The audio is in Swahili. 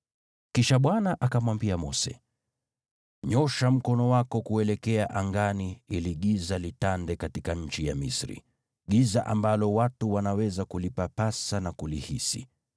Kisha Bwana akamwambia Mose, “Nyoosha mkono wako kuelekea angani ili giza litande katika nchi ya Misri, giza ambalo watu wanaweza kulipapasa na kulihisi.”